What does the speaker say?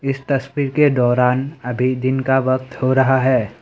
इस तस्वीर के दौरान अभी दिन का वक्त हो रहा है।